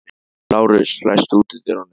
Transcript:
Lárus, læstu útidyrunum.